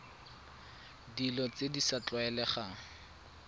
dilo tse di sa tlwaelegang